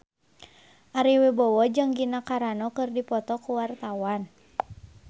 Ari Wibowo jeung Gina Carano keur dipoto ku wartawan